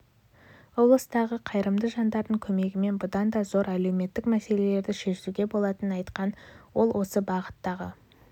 облыстағы қайырымды жандардың көмегімен бұдан да зор әлеуметтік мәселелерді шешуге болатынын айтқан ол осы бағыттағы